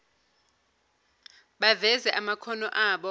baveze amakhono abo